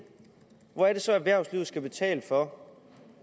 hvor er det så at erhvervslivet skal betale for